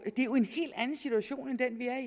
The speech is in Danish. en helt anden situation end den vi er